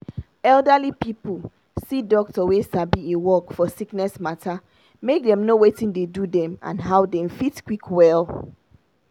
elderly pipu must see doctor wey sabi e work for sickness matter make dem know watin dey do dem and how dem fit quick well.